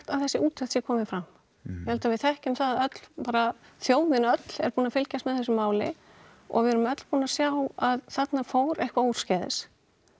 að þessi úttekt sé komin fram ég held við þekkjum það öll bara þjóðin öll er búin fylgjast með þessu máli og við erum öll búin að sjá að þarna fór eitthvað úrskeiðis